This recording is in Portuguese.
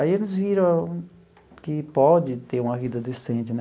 Aí eles viram que pode ter uma vida decente né.